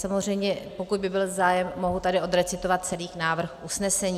Samozřejmě pokud by byl zájem, mohu tady odrecitovat celý návrh usnesení.